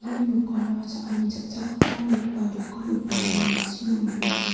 ia dokanara cha·ani cha·chakgipa nok ba dokan ong·a ine ma·sina man·a.